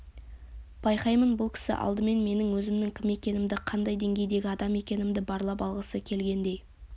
байқаймын бұл кісі алдымен менің өзімнің кім екенімді қандай деңгейдегі адам екенімді барлап алғысы келгендей